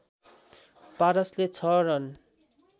पारसले ६ run